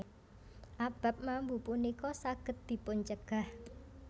Abab mambu punika saged dipuncegah